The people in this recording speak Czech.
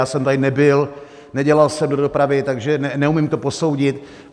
Já jsem tady nebyl, nedělal jsem do dopravy, takže neumím to posoudit.